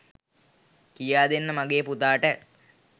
කියාදෙන්න මගේ පුතාට